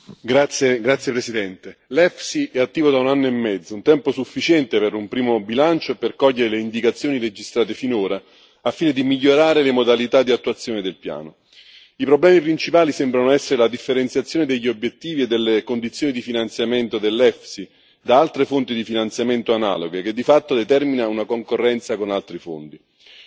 Signora Presidente, onorevoli colleghi, l'EFSI è attivo da un anno e mezzo, un tempo sufficiente per un primo bilancio e per cogliere le indicazioni registrate finora al fine di migliorare le modalità di attuazione del Piano. I problemi principali sembrano essere la differenziazione degli obiettivi e delle condizioni di finanziamento dell'EFSI da altre fonti di finanziamento analoghe, che di fatto determina una concorrenza con altri fondi.